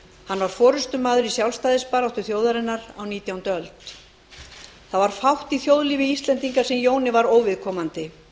hann var forustumaður í sjálfstæðisbaráttu þjóðarinnar á nítjándu öld það var fátt í þjóðlífi íslendinga sem jóni var óviðkomandi